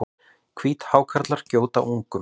Hvíthákarlar gjóta ungum.